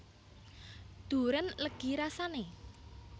Durén legi rasane